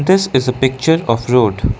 this is a picture of road.